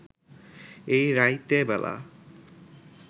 এই রাইতেবেলা